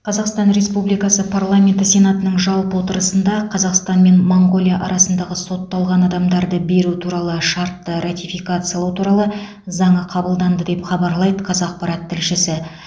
қазақстан республикасы парламенті сенатының жалпы отырысында қазақстан мен моңғолия арасындағы сотталған адамдарды беру туралы шартты ратификациялау туралы заңы қабылданды деп хабарлайды қазақпарат тілшісі